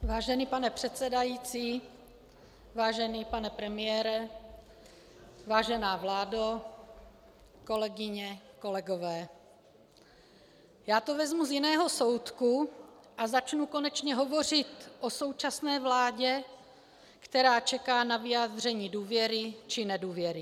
Vážený pane předsedající, vážený pane premiére, vážená vládo, kolegyně, kolegové, já to vezmu z jiného soudku a začnu konečně hovořit o současné vládě, která čeká na vyjádření důvěry či nedůvěry.